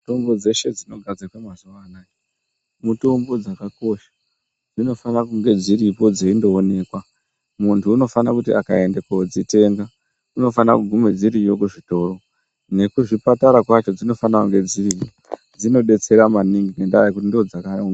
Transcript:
Mutombo dzeshe dzinogadzirwa mazuwa anaya mutombo dzakakosha dzinofane kunge dziripo dzeindoonekwa muntu unofane kuti akaende kodzitenga unofane kugume dziriyo kuzvitoro nekuzvipatara kwacho dzinofana kunge dziriyo dzinobetsera maningi ngendaa yekuti ndodzaka oo.